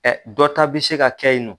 dɔ ta bɛ se ka kɛ ye nɔ.